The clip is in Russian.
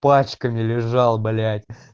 пачка не лежал блять